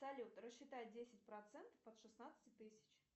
салют рассчитай десять процентов от шестнадцати тысяч